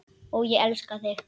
Og ég elska þig!